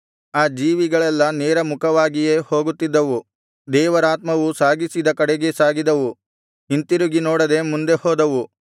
ಆ ಜೀವಿಗಳೆಲ್ಲಾ ನೇರ ಮುಖವಾಗಿಯೇ ಹೋಗುತ್ತಿದ್ದವು ದೇವರಾತ್ಮವು ಸಾಗಿಸಿದ ಕಡೆಗೇ ಸಾಗಿದವು ಹಿಂತಿರುಗಿನೋಡದೆ ಮುಂದೆ ಹೋದವು